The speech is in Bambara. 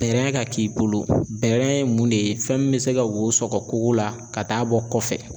Bɛrɛ ka k'i bolo bɛrɛ ye mun de ye fɛn min bɛ se ka wo sɔkɔ kogo la ka taa'a bɔ kɔfɛ.